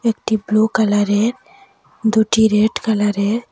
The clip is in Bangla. একটি ব্লু কালারের দুটি রেড কালারের--